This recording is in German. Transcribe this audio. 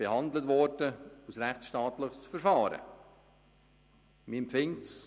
Dieses wurde als rechtsstaatliches Verfahren behandelt.